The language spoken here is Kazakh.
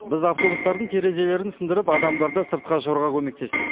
біз автобустардың терезелерін сындырып адамдарды сыртқа шығаруға көмектестік